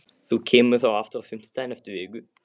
Þú kemur þá aftur á fimmtudaginn eftir viku?